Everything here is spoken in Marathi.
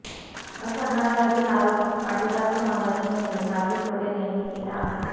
असा घणाघाती आरोप पाटीदार समाजाचे नेते हार्दिक पटेल यांनी केला आहे